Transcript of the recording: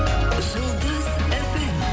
жұлдыз фм